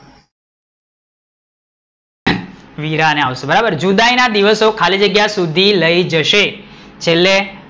વીરા ને આવશે બરાબર, જુદાઈ ના દિવસો ખાલી જગ્યા સુધી લઇ જશે